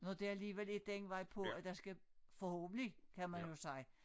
Når det alligevel er den vej på at der skal forhåbentlig kan man jo sige